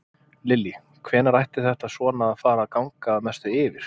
Lillý: Hvenær ætti þetta svona að fara að ganga að mestu yfir?